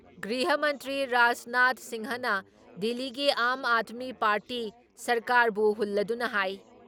ꯒ꯭ꯔꯤꯍ ꯃꯟꯇ꯭ꯔꯤ ꯔꯥꯖꯅꯥꯊ ꯁꯤꯡꯍꯅ ꯗꯤꯜꯂꯤꯒꯤ ꯑꯥꯝ ꯑꯥꯗꯃꯤ ꯄꯥꯔꯇꯤ ꯁꯔꯀꯥꯔꯕꯨ ꯍꯨꯜꯂꯗꯨꯅ ꯍꯥꯏ